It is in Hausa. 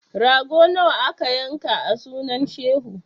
Rago nawa aka yanka a sunan shehu?